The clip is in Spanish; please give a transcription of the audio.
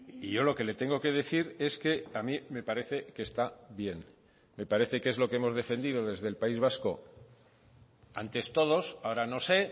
y yo lo que le tengo que decir es que a mí me parece que está bien me parece que es lo que hemos defendido desde el país vasco antes todos ahora no sé